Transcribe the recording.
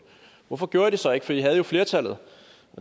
hvorfor gjorde i det så ikke for i havde jo flertallet